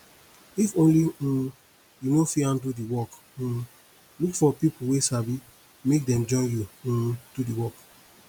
if only um you no fit handle di work um look for pipo wey sabi make dem join you um do di work